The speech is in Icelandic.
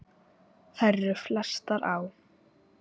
Þær eru flestar á